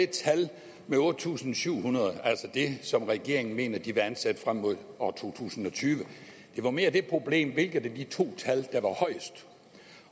tallet otte tusind syv hundrede altså det som regeringen mener de vil ansætte frem mod to tusind og tyve det var mere det problem altså hvilket af de to tal der var højest